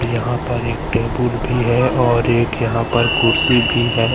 यहां पर एक टेबुल भी है और एक यहां पर कुर्सी भी है।